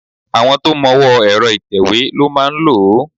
Àwọn tó mọwọ́ọ ẹ̀rọ ìtẹ̀wé ló máa lòó.